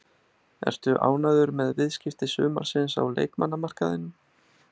Ertu ánægður með viðskipti sumarsins á leikmannamarkaðinum?